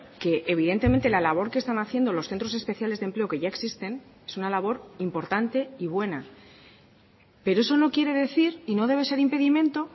que evidentemente la labor que están haciendo los centros especiales de empleo que ya existen es una labor importante y buena pero eso no quiere decir y no debe ser impedimento